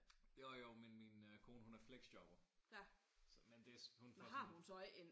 Jo jo men min kone hun er fleksjobber så men det